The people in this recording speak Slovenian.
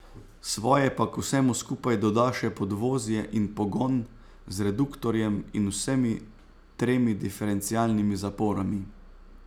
Svoje pa k vsemu skupaj doda še podvozje in pogon z reduktorjem in vsemi tremi diferencialnimi zaporami.